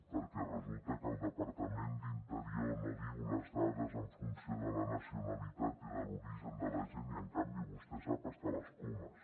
perquè resulta que el departament d’interior no diu les dades en funció de la nacionalitat i de l’origen de la gent i en canvi vostè sap fins i tot les comes